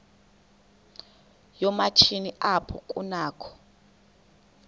yoomatshini apho kunakho